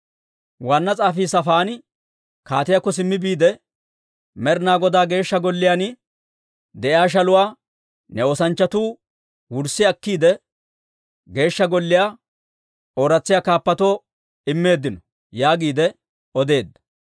Waanna s'aafii Saafaani kaatiyaakko simmi biide, «Med'inaa Godaa Geeshsha Golliyaan de'iyaa shaluwaa ne oosanchchatuu wurssi akkiide, Geeshsha Golliyaa ooratsisiyaa kaappatoo immeeddino» yaagiide odeedda.